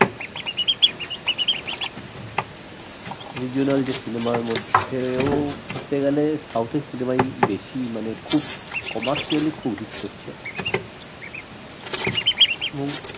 regional যে cinema এর মধ্যে ধরতে গেলে south এর cinema ই বেশি মানে খুব commercially খুব hit করছে এবং